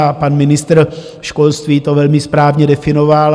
A pan ministr školství to velmi správně definoval.